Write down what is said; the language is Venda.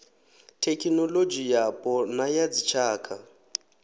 thekhinoḽodzhi yapo na ya dzitshaka